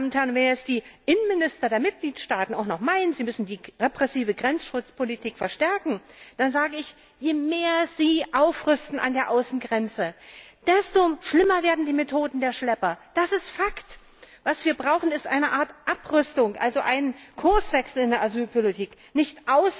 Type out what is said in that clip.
Wenn jetzt die Innenminister der Mitgliedstaaten auch noch meinen, sie müssten die repressive Grenzschutzpolitik verstärken, dann sage ich Je mehr sie an der Außengrenze aufrüsten, desto schlimmer werden die Methoden der Schlepper, das ist Fakt! Was wir brauchen, ist eine Art Abrüstung, also einen Kurswechsel in der Asylpolitik, nicht